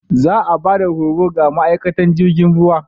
Za a ba da horo ga ma'aikatan jirgin ruwa.